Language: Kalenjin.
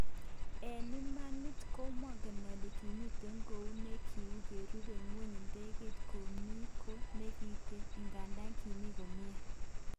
"En imani komongen ole kimiten kou ne kin korube ngweny idegeit komi kot nekiten, igandan kimi komie.